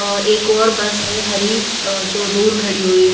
अ एक और बस है हरी अ जो दूर खड़ी हुई--